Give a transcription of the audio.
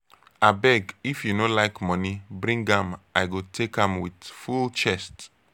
abeg if you no like money bring am i go take am with full chest.